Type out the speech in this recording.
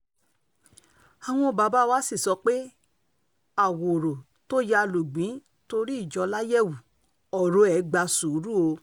àwọn bàbá wa sì sọ pé àwòrò tó yá lùgbìn torí ìjọ láyẹ̀wù ọ̀rọ̀ ẹ̀ gba sùúrù o